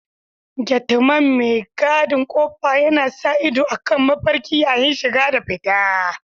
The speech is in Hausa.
Gateman mai gadin ƙofa yana sa ido akan mafarki yayin shiga da fita.